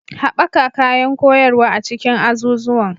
Haɓaka kayan koyarwa a cikin azuzuwan